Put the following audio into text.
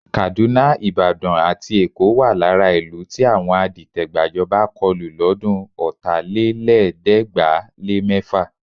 Kàdúná, Ìbàdàn àti Èkó wà lára ìlú tí àwọn adìtẹ̀-gbàjọba kọlù lọ́dún Ọ̀tálélẹ̀ẹ́dẹ́gbàá-lé-mẹ́fà.